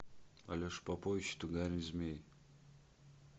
алеша попович и тугарин змей